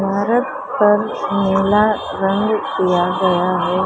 भारत पर मैला रंग दिया गया है।